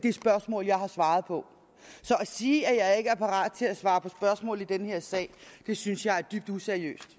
er spørgsmål jeg har svaret på så at sige at jeg ikke er parat til at svare på spørgsmål i den her sag synes jeg er dybt useriøst